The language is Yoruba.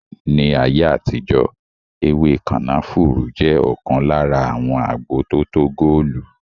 Ní ayé àtijó ewé kànáfùrú jẹ ọkan lára àwọn agbo tótó góòlù